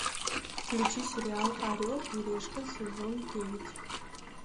включи сериал орел и решка сезон девять